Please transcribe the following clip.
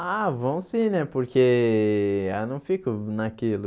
Ah, vão sim né, porque eu não fico naquilo.